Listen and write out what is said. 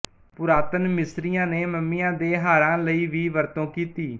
ਪੁਰਾਤਨ ਮਿਸਰੀਆਂ ਨੇ ਮਮੀਆਂ ਦੇ ਹਾਰਾਂ ਲਈ ਵੀ ਵਰਤੋਂ ਕੀਤੀ